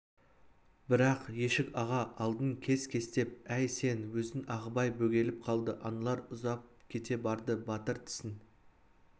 бірақ ешік-аға алдын кес-кестеп әй сен өзің ағыбай бөгеліп қалды аналар ұзап кете барды батыр тісін